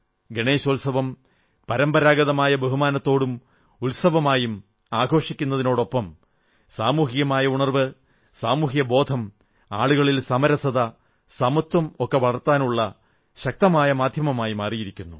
ഗണേശോത്സവം പരമ്പരാഗതമായ ബഹുമാനത്തോടും ഉത്സവമായും ആഘോഷിക്കുന്നതിനൊപ്പം സാമൂഹിക ഉണർവ്വ് സാമൂഹ്യബോധം ആളുകളിൽ സമരസത സമത്വം ഒക്കെ വളർത്താനുള്ള ശക്തമായ മാധ്യമമായി മാറിയിരുന്നു